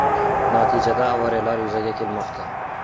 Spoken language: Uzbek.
Natijada avariyalar yuzaga kelmoqda.